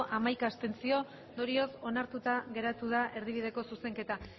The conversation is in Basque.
hamaika abstentzio ondorioz onartuta geratu da erdibideko zuzenketa